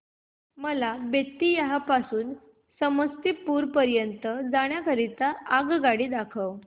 मला बेत्तीयाह पासून ते समस्तीपुर पर्यंत जाण्या करीता आगगाडी दाखवा